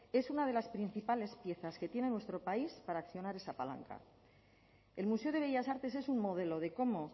es una de las principales piezas que tiene nuestro país para accionar esa palanca el museo de bellas artes es un modelo de cómo